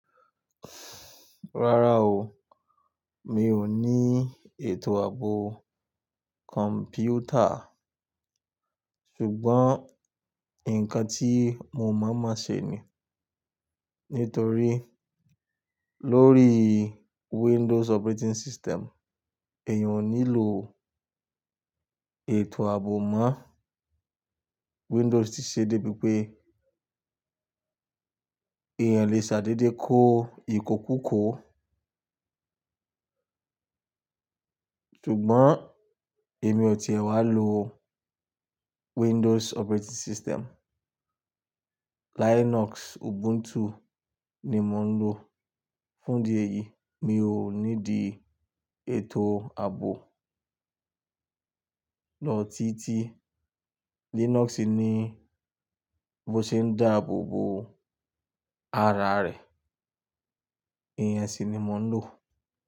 Rárá o, mi ò ní ètò ààbò kọ̀m̀pútà ṣùgbọ́n ǹkan tí mo mọ̀ mọ̀ ṣe ni. Nítorí lórí Windows operating system, èyàn o nílò ètò ààbò mọ́. Windows ti ṣe dé bí pé èèyàn o lè ṣàdédé kó ìkòkò kò. Ṣùgbọ́n èmi ò ti wá lo Windows operating system. Linux Ubuntu ni mò ń lò. Fún di èyí, mi ò ní di ètò ààbò. Lọ títí Linux ni bó ṣe ń dáàbò bo ara rẹ̀. Ìyẹ́n si ni mò ń lò.